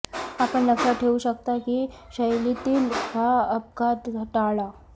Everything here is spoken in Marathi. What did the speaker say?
आपण लक्षात ठेवू शकता की शैलीतील हा अपघात टाळा